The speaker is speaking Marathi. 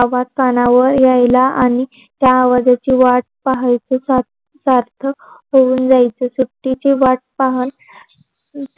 आवाज काणावर यायला आणी त्यां आवाजाचे वाट पहायचे सार्थक होऊन जायचे सुट्टीची वाट पाहन